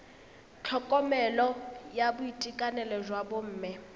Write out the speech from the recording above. tlhokomelo ya boitekanelo jwa bomme